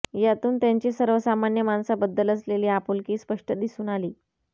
यातून त्यांची सर्वसामान्य माणसाबद्दल असलेली आपुलकी स्पष्ट दिसून आली